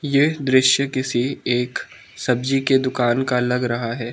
यह दृश्य किसी एक सब्जी के दुकान का लग रहा है।